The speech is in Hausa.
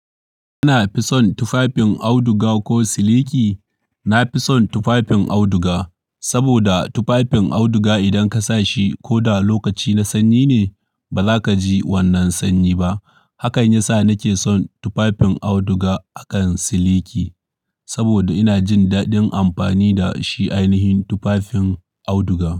Kana fison tufafin auduga ko siliki? Na fi son tufafin auduga, saboda tufafin auduga idan ka sa shi koda lokaci na sanyi ne, ba za ka ji wannan sanyi ba. Hakan ya sa na ke son tufafin auduga akan siliki. Saboda ina jin daɗin amfani da shi ainihin tufafin auduga.